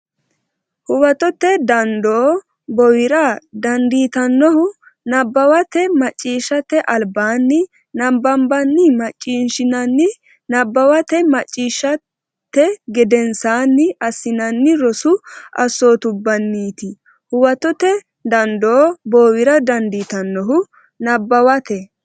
Huwatote dandoo bowira dandiitannohu nabbawate macciishshate albaanni nabbanbanni macciishshinanni nabbawate macciishshate gedensaanni assinanni rosu assootubbanniiti Huwatote dandoo bowira dandiitannohu nabbawate.